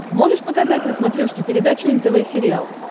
можешь показать на смотрешке передачу нтв сериал